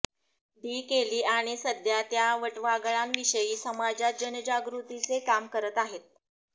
D केली आणि सध्या ते वटवाघळांविषयी समाजात जनजागृतीचे काम करत आहेत